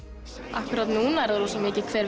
akkúrat núna er rosa mikið hvenær